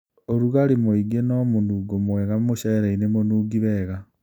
ũrugarĩ. Mũingi no mũnungo mwega mmũcereinĩ mũnungi wega.